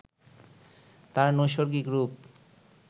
তার নৈসর্গিক রূপ